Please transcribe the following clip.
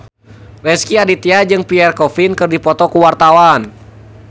Rezky Aditya jeung Pierre Coffin keur dipoto ku wartawan